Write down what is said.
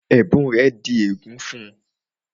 Ẹ̀bùn rẹ̀ di ègún fún-un